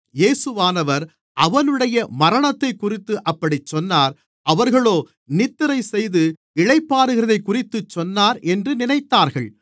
இயேசுவானவர் அவனுடைய மரணத்தைக்குறித்து அப்படிச் சொன்னார் அவர்களோ நித்திரைசெய்து இளைப்பாறுகிறதைக்குறித்துச் சொன்னார் என்று நினைத்தார்கள்